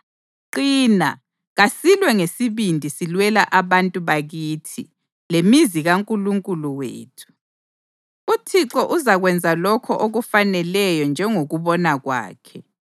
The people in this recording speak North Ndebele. Qina, kasilwe ngesibindi silwela abantu bakithi lemizi kaNkulunkulu wethu. UThixo uzakwenza lokho okufaneleyo njengokubona kwakhe.”